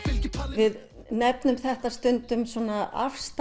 við nefnum þetta stundum svona